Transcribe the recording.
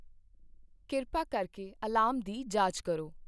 ਕਿਰਪਾ ਕਰਕੇ ਅਲਾਰਮ ਦੀ ਜਾਂਚ ਕਰੋ।